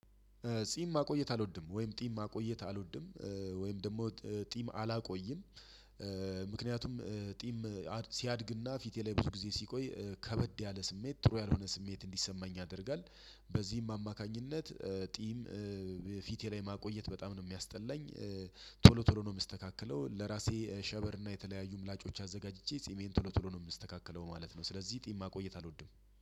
ጢም ማቆየት አልወድም ወይም ጢም ማቆየት አልወድም ወይም ደግሞ ጢም አላቆይም። ምክንያቱም ጢም ሲያድግና ፊቴ ላይ ብዙ ጊዜ ሲቆይ ከበድ ያለ ስሜት ጥሩ ያልሆነ ስሜት እንዲሰማኝ ያደርጋል። በዚህም አማካኝነት ጢም ፊቴ ላይ ማቆየት በጣም ነው የሚያስጠላኝ። ቶሎ ነው የምስተካከለው ለራሴ ሸበር እና የተለያዩ ምላጮች አዘጋጅቼ ጺሜን ቶሎ ቶሎ ነው የምስተካከለው ማለት ነው። ስለዚህ ጢም ማቆይት አልወድም